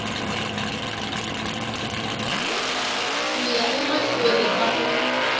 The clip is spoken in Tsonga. ku ya emahlweni ka ku